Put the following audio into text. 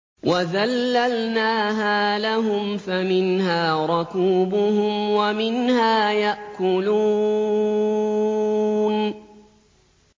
وَذَلَّلْنَاهَا لَهُمْ فَمِنْهَا رَكُوبُهُمْ وَمِنْهَا يَأْكُلُونَ